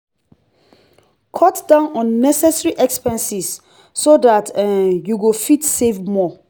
cut down unnessecary expenses so that um you go fit save more